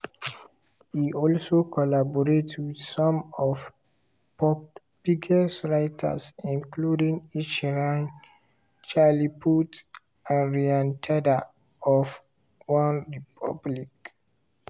e also collaborate with some of pop biggest writers including ed sheeran charlie puth and ryan tedder of onerepublic.